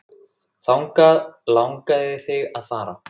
Þangað langaði þig að fara.